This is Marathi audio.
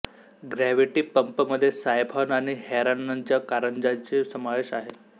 ग्रॅव्हिटी पंपमध्ये सायफॉन आणि हेरॉनच्या कारंजेचा समावेश आहे